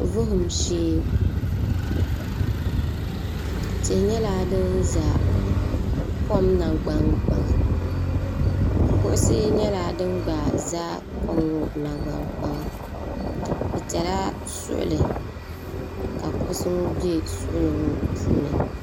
Vuhim shee tihi nyɛla din za kom nangban kpaŋa kuɣusi nyɛla din gba za kom ŋɔ nangban kpaŋa bɛ tila suɣuli ka kuɣusi ŋɔ be suɣuli ŋɔ puuni.